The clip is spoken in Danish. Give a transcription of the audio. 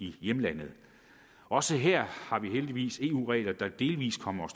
i hjemlandet også her har vi heldigvis eu regler der delvis kommer